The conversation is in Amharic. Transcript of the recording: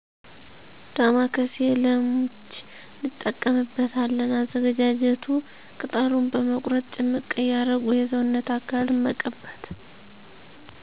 ዳማከሴ ለምች እንጠቀምበታለን አዘገጃጀቱ ቅጠሉን በመቁረጥ ጭምቅ እያደረጉ የሰውነት አካልን መቀባት